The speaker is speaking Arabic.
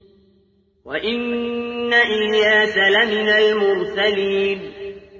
وَإِنَّ إِلْيَاسَ لَمِنَ الْمُرْسَلِينَ